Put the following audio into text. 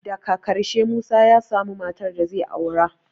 Daka ƙarshe dai Musa ya samu matar da zai aura